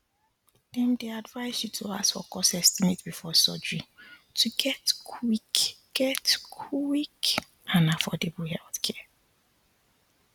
dem dey advise you to ask for cost estimate before surgery to get quick get quick and affordable healthcare